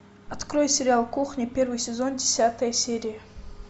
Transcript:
открой сериал кухня первый сезон десятая серия